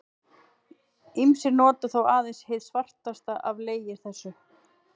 Ýmsir nota þó aðeins hið svartasta af legi þessum.